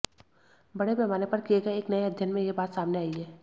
बड़े पैमाने पर किए गए एक नए अध्ययन में यह बात सामने आई है